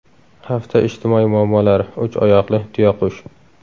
Hafta ijtimoiy muammolari: Uch oyoqli tuyaqush.